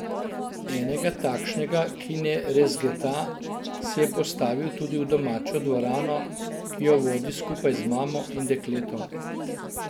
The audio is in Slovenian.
Enega takšnega, ki ne rezgeta, si je postavil tudi v domačo dvorano, ki jo vodi skupaj z mamo in dekletom.